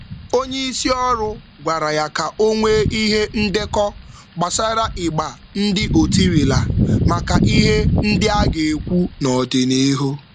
Onye njikwa gbara ya ume ka ọ dekọọ ihe ọ rụzuru maka mkparịta ụka mmepe n’ọdịnihu.